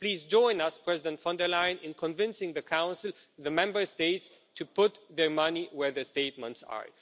Please join us, President-elect von der Leyen, in convincing the Council and the Member States to put their money where their statements are.